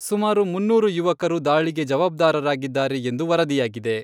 ಸುಮಾರು ಮುನ್ನೂರು ಯುವಕರು ದಾಳಿಗೆ ಜವಾಬ್ದಾರರಾಗಿದ್ದಾರೆ ಎಂದು ವರದಿಯಾಗಿದೆ.